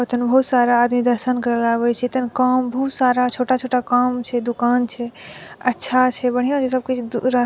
बहुत सारा आदमी दर्शन करे ले आवे छै एते ने काम बहुत सारा छोटा छोटा दुकान छै अच्छा छै बढ़िया छै सब कुछ रह --